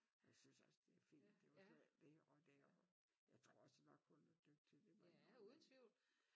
Jeg synes også det fint det var det var ikke og det jo jeg tror også nok hun er dygtig det må jeg indrømme men